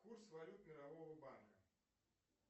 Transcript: курс валют мирового банка